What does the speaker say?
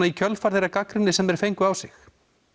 í kjölfar þeirrar gagnrýni sem þeir fengu á sig